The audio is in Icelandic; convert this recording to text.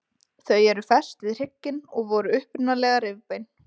Þau eru fest við hrygginn og voru upprunalega rifbein.